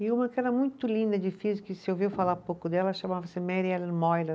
E uma que era muito linda, difícil, que se ouviu falar pouco dela, chamava-se Mary Ellen Moylan.